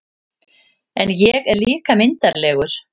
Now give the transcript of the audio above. En ég er líka myndarlegur